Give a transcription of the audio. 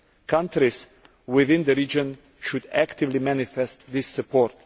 Countries within the region should actively manifest this support.